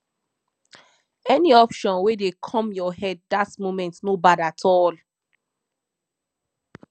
any option wey dey kom yur head dat moment no bad at all